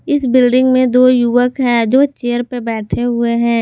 इस बिल्डिंग में दो युवक है जो चेयर पर बैठे हुए हैं।